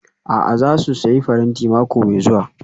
A'a, za su sayi faranti mako mai zuwa